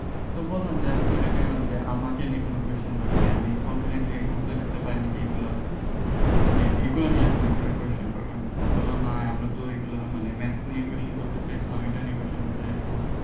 তো বললাম যে আমি তো ready হইলাম যে আমাকে নিয়ে কোন question থাকলে আমি confidently উত্তর দিতে পারি নাকি এগুলা নিয়ে এগুলো নিয়ে আপনি question করবেন বলোনা আমরা তো এগুলো maths নিয়ে question করতে চাই